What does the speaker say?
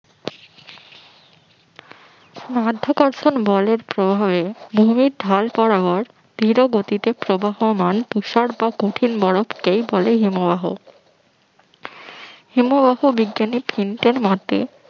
মাধ্যাকর্ষণ বলের প্রভাবে ভূমির ঢাল বরাবর ধীরগতিতে প্রবাহমান তুষার বা কঠিন বরফকেই বলে হিমবাহ ধীরগতিতে প্রবাহমান হিমবাহ বিজ্ঞানী থিংক এর মতে